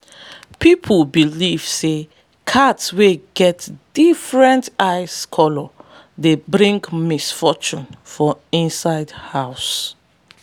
people believe say cats wey get different eye colours dey bring mixed fortunes for inside house.